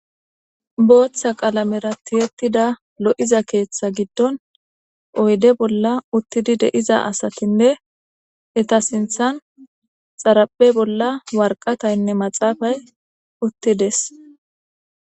booththa qalamera tiyetida lo7iza keeththa giddon oyde bolla uttidi de'iza asatinne eta sinthan xarape bolla warqataynne maxaafay uttides